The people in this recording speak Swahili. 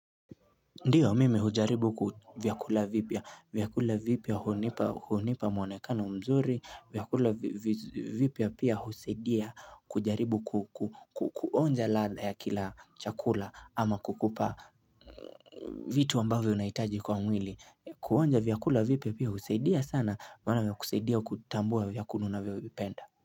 Ndiyo mimi hujaribu vyakula vipya. Vyakula vipya hunipa mwonekano mzuri. Vyakula vipya pia husaidia kujaribu kuonja ladha ya kila chakula ama kukupa vitu ambavyo unahitaji kwa mwili. Kuonja vyakula vipya pia husaidia sana mana vinakusaidia kutambua vyakula unavyovipenda.